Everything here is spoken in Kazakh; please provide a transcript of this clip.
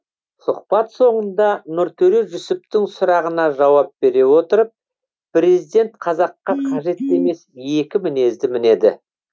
сұхбат соңында нұртөре жүсіптің сұрағына жауап бере отырып президент қазаққа қажет емес екі мінезді мінеді